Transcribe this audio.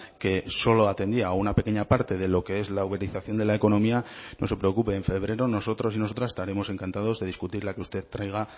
que solo atendía a una pequeña parte de lo que es la uberización de la economía no se preocupe en febrero nosotros y nosotras estaremos encantados de discutir la que usted traiga